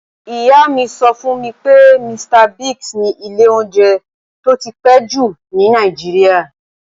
Ìyá mi sọ fún mi pé, Mr. Biggs ni ilé oúnjẹ tó ti pẹ́ jù ní Nàìjíríà.